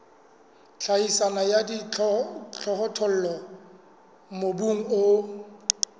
tlhahiso ya dijothollo mobung o